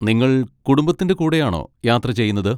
നിങ്ങൾ കുടുംബത്തിൻ്റെ കൂടെയാണോ യാത്ര ചെയ്യുന്നത്?